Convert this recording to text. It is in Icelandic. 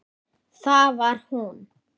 Það var hún.